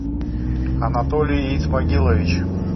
анатолий исмагилович